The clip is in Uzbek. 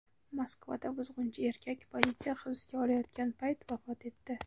Moskvada buzg‘unchi erkak politsiya hibsga olayotgan payt vafot etdi.